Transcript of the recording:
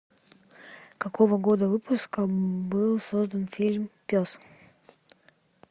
какого года выпуска был создан фильм пес